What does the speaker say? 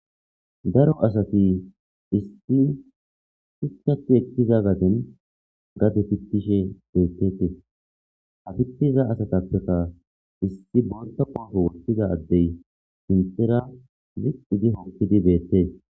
Daro asati issippe gididi gadeza fitishe dizayssa bessishe de'es.